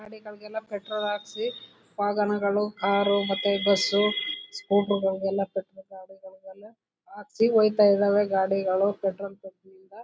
ಗಾಡಿಗಳಿಗೆಲ್ಲ petrol ಹಾಕಿಸಿ ವಾಹನಗಳು car ಮತ್ತೆ ಬಸ್ ಸ್ಕೂಟರ್ ಗಳಿಗೆಲ್ಲ ಪೆಟ್ರೋಲ್ ಗಾಡಿಗಳಿಗೆಲ್ಲ ಹಾಕಿಸಿ ಹೋಯ್ತಾ ಇದಾವೆ ಗಾಡಿಗಳು ಪೆಟ್ರೋಲ್ ಬಂಕ್ ನಿಂದ.